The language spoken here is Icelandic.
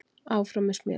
Áfram með smjörið.